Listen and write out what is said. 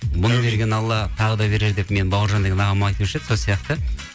бұны берген алла тағы да берер деп менің бауыржан деген ағам айтушы еді сол сияқты